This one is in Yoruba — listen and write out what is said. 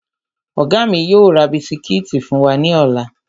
Ọ̀gá mi yóò ra bisikíìtì fún wa ní ọ̀la